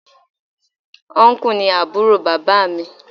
Ọnkú ni àbúrò bàbá mi.